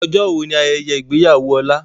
Ọjọ́ wo ni ayẹyẹ ìgbéyàwó Ọlá?